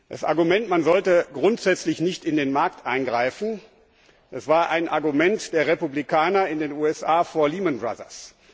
Das Argument, man sollte grundsätzlich nicht in den Markt eingreifen, war ein Argument der Republikaner in den USA vor Lehman Brothers.